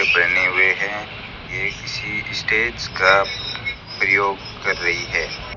पहने हुए हैं ये किसी स्टेज का प्रयोग कर रही है।